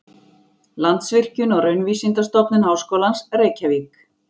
Landsvirkjun og Raunvísindastofnun Háskólans, Reykjavík.